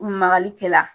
Makali kɛ la